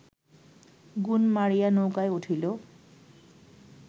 গুণ মারিয়া নৌকায় উঠিল